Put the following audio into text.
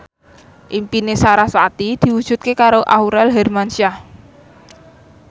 impine sarasvati diwujudke karo Aurel Hermansyah